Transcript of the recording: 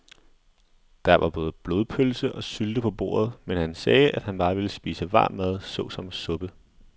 Der var både blodpølse og sylte på bordet, men han sagde, at han bare ville spise varm mad såsom suppe.